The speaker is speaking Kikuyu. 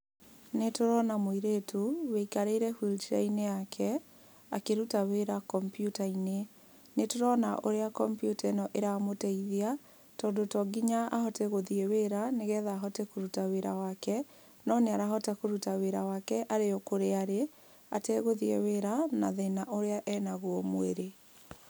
Nĩtũrona mũirĩtu, ũikarĩire wheel-chair -inĩ yake akĩruta wĩra kampyuta-inĩ. Nĩtũrona ũrĩa kompyuta ĩno ĩramũteithia, tondũ tonginya ahote gũthiĩ wĩra nĩgetha ahote kũruta wĩra wake, no nĩ arahota kũruta wĩra wake arĩokũrĩa arĩ, ategũthiĩ wĩra na thĩna ũrĩa enagwo mwĩrĩ.